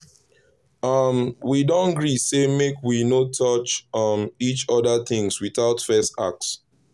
um we don gree say make we no touch um each other things without first ask.